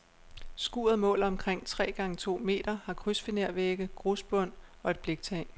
Skuret måler omkring tre gange to meter, har krydsfinervægge, grusbund og et bliktag.